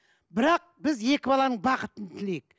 бірақ біз екі баланың бақытын тілейік